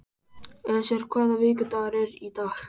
Esjar, hvaða vikudagur er í dag?